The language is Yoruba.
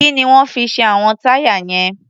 Kí ni wọ́n fi ṣe àwọn táyà yẹn?